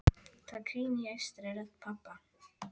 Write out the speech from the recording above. Það hvín í æstri rödd pabba.